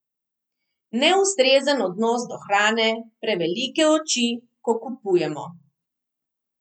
Neustrezen odnos do hrane, prevelike oči, ko kupujemo?